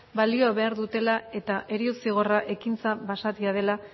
balio behar dutela eta heriotza zigorra ekintza basatia dela